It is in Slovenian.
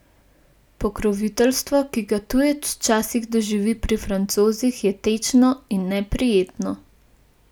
Pokroviteljstvo, ki ga tujec včasih doživi pri Francozih, je tečno in neprijetno.